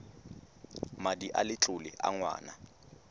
madi a letlole a ngwana